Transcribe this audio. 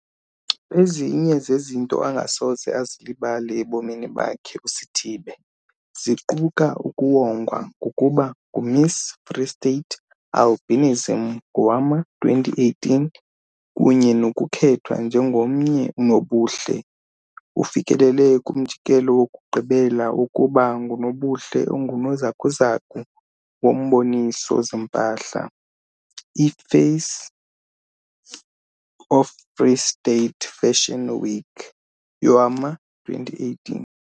Ezinye zezinto angasoze azilibale ebomini bakhe uSithibe ziquka ukuwongwa ngokuba nguMiss Free State Albinism ngowama-2018 kunye nokukhethwa njengomnye unobuhle ufikelele kumjikelo wokugqibela wokuba ngunobuhle ongunozakuzaku womboniso-zimpahla, i-Face of Free State Fashion Week yowama-2018.